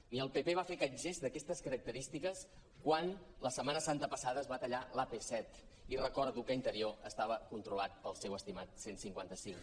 ni el pp va fer aquest gest d’aquestes característiques quan la setmana santa passada es va tallar l’ap·set i recordo que interior estava controlat pel seu estimat cent i cinquanta cinc